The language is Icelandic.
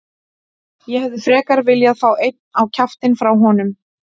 Ég hefði frekar viljað fá einn á kjaftinn frá honum.